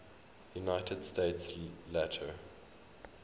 united states later